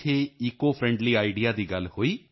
ਨਮਸਤੇ ਵਿਜੇ ਸ਼ਾਂਤੀ ਜੀ ਕੀ ਹਾਲ ਹੈ ਤੁਹਾਡਾ ਹੋਵ ਏਆਰਈ ਯੂ